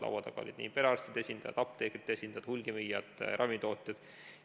Laua taga olid perearstide esindajad, apteekide esindajad, hulgimüüjad, ravimitootjad.